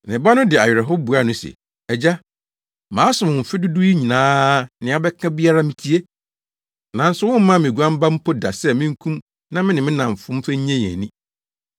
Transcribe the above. Ne ba no de awerɛhow buaa no se, ‘Agya, masom wo mfe dodow yi nyinaa a nea wobɛka biara mitie, nanso wommaa me oguan ba mpo da sɛ minkum na me ne me nnamfonom mfa nnye yɛn ani.